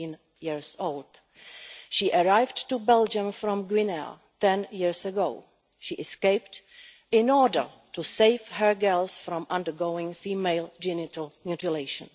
18. She arrived in Belgium from Guinea 10 years ago she escaped in order to save her girls from undergoing female genital mutilation.